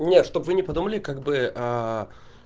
нет чтобы вы не подумали как бы